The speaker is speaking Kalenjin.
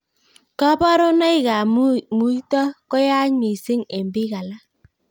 Kabarunoik ab muito koyaach missing eng bik alak.